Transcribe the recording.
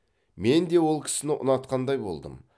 менде ол кісіні ұнатқандай болдым